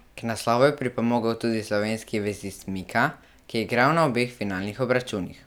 K naslovu je pripomogel tudi slovenski vezist Mika, ki je igral na obeh finalnih obračunih.